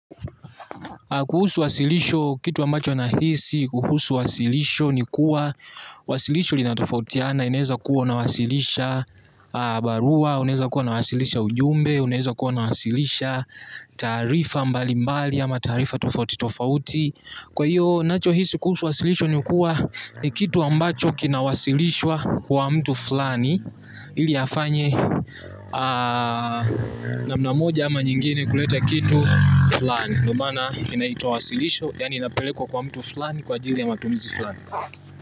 Kuhusu wasilisho kitu ambacho nahisi, kuhusu wasilisho ni kuwa wasilisho lina tofautiana, inaeza kuwa unawasilisha barua, unaeza kuwa unawasilisha ujumbe, unaeza kuwa unawasilisha taarifa mbali mbali ama taarifa tofauti tofauti. Kwa hiyo nacho hisi kuhusu wasilisho ni kuwa ni kitu ambacho kina wasilishwa kwa mtu fulani. Ili afanye naam moja ama nyingine kuleta kitu fulani. Ndio maana inaitwa wasilisho yani inapelekwa kwa mtu fulani kwa ajili ya matumizi fulani.